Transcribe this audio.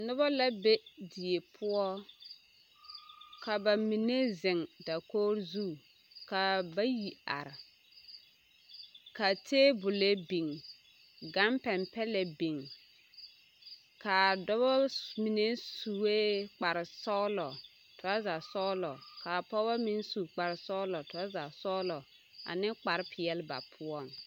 Nobɔ la be die poɔ ka bamine zeŋ dakogiri zu ka bayi are ka teebole biŋ, gampɛmpɛlɛ biŋ k'a dɔbɔ mine sue kpare sɔgelɔ toraza sɔgelɔ k'a pɔgebɔ meŋ su kpare sɔgelɔ toraza sɔgelɔ ane kpare peɛle ba poɔŋ.